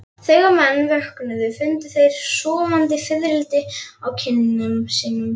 Þegar menn vöknuðu fundu þeir sofandi fiðrildi á kinnum sínum.